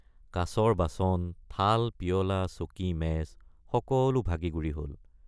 কাঁচৰ বাচন থালপিয়লা চকীমেজ সকলো ভাগি গুৰি হল।